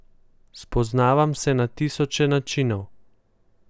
Spoznavam se na tisoče načinov.